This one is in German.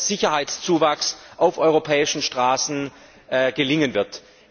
Sicherheitszuwachs auf europäischen Straßen gelingen wird.